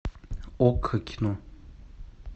окко кино